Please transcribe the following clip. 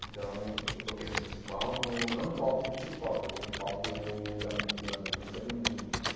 Então, eu toquei nesse festival, no não no palco principal, toquei no palco da mú da Música do Mundo.